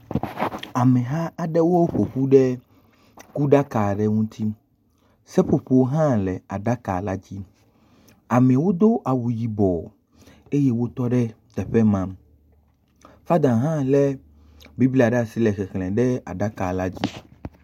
Ameha aɖewo ƒo ƒu ɖe kuɖaka aɖe ŋuti. Seƒoƒo hã le aɖaka la dzi. Amewo do awu yibɔ. Eye wotɔ ɖe teƒe ma. Fada hã lé Bibla ɖe asi le xexlẽ ɖe aɖakala dzi.